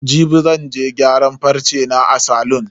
Jibi zan je gyaran farce na a salon.